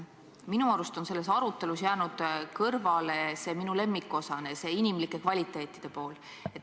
Minu arust on selles arutelus jäänud kõrvale minu lemmikteema – inimene.